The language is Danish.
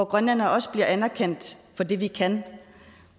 grønlændere også bliver anerkendt for det vi kan